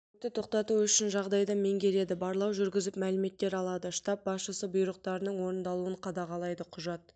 өртті тоқтату үшін жағдайды меңгереді барлау жүргізіп мәліметтер алады штаб басшысы бұйрықтарының орындалуын қадағалайды құжат